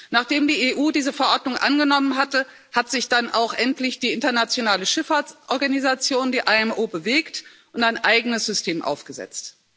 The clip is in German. Nachdem die EU diese Verordnung angenommen hatte, hat sich dann auch endlich die internationale Schifffahrtsorganisation, die IMO, bewegt und ein eigenes System aufgesetzt.